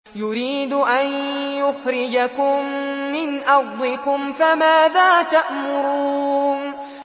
يُرِيدُ أَن يُخْرِجَكُم مِّنْ أَرْضِكُمْ ۖ فَمَاذَا تَأْمُرُونَ